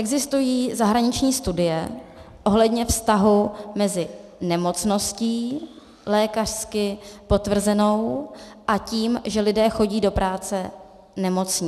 Existují zahraniční studie ohledně vztahu mezi nemocností lékařsky potvrzenou a tím, že lidé chodí do práce nemocní.